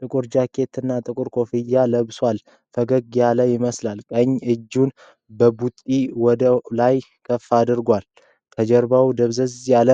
ጥቁር ጃኬት እና ጥቁር ኮፍያ ለብሷል። ፈገግ ያለ ይመስላል፣ ቀኝ እጁን በቡጢ ወደ ላይ ከፍ አድርጓል። ከጀርባው ደብዘዝ ያለ